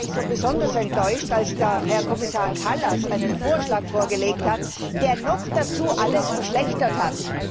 Deswegen war ich besonders enttäuscht, als Herr Kommissar Kallas einen Vorschlag vorgelegt hat, der noch dazu alles verschlechtert hat.